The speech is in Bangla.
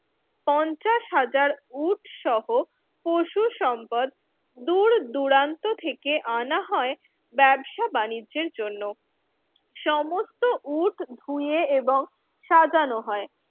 পঞ্চাশ হাজার উট সহ পশু সম্পদ দূরদূরান্ত থেকে আনা হয় ব্যবসা-বাণিজ্যের জন্য সমস্ত উট ধুয়ে এবং সাজানো হয়।